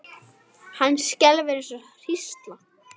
Hann skelfur eins og hrísla.